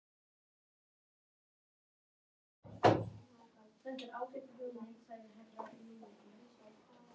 Farin upp til Guðs.